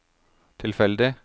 tilfeldig